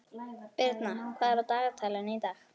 Birna, hvað er á dagatalinu í dag?